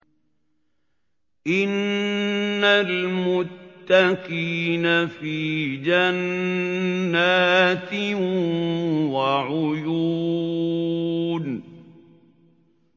إِنَّ الْمُتَّقِينَ فِي جَنَّاتٍ وَعُيُونٍ